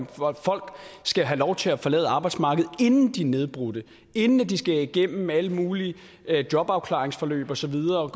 folk skal have lov til at forlade arbejdsmarkedet inden de er nedbrudte inden de skal gennem alle mulige jobafklaringsforløb og så videre og